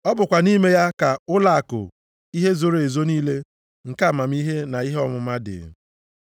Ọ bụkwa nʼime ya ka ụlọakụ ihe zoro ezo niile nke amamihe na ihe ọmụma dị.